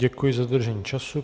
Děkuji za dodržení času.